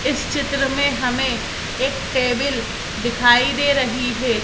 इस चित्र में एक टेबिल दिखाई दे रही है।